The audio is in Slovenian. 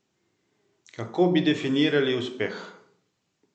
Kako bi definirali uspeh?